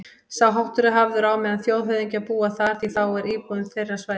Sá háttur er hafður á meðan þjóðhöfðingjar búa þar, því þá er íbúðin þeirra svæði